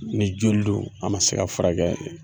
Ni joli don a ma se ka furakɛ